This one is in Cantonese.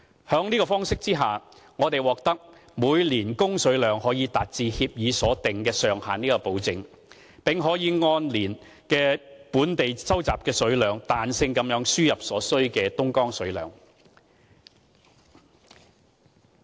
在這方式下，我們獲得保證每年供水量可達至協議所訂上限，並可以按當年的本地集水量，彈性輸入所需的東江水。